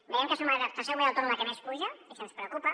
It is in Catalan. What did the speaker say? veiem que som la tercera comunitat autònoma que més puja i això ens preocupa